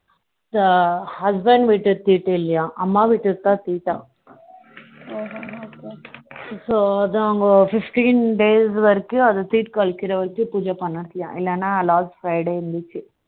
husband வீட்டு தீட்டு இல்லயாம் அம்மா வீட்டுக்கு தான் தீட்டாம் so அதான் fifteen days வரைக்கும் அத தீட்டு கலைக்குற வரைக்கும் பூஜை பண்ணணுமாம் இல்லனா last five days இருந்துச்சு